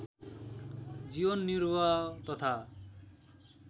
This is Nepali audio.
जीवन निर्वाह तथा